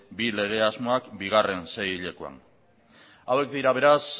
bi lege asmoak bigarren seihilekoan hauek dira beraz